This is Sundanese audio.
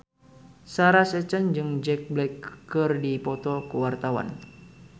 Sarah Sechan jeung Jack Black keur dipoto ku wartawan